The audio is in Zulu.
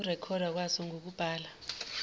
ukurekhodwa kwaso ngokubhala